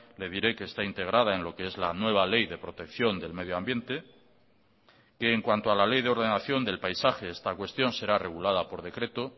le diré que está integrada en lo que es la nueva ley de protección del medioambiente en cuanto a la ley de ordenación del paisaje esta cuestión será regulada por decreto